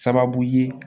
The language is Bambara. Sababu ye